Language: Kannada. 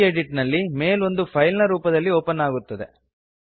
ಗೆಡಿಟ್ ನಲ್ಲಿ ಮೆಲ್ ಓಂದು ಫೈಲ್ ನ ರೂಪದಲ್ಲಿ ಓಪನ್ ಅಗುತ್ತದೆ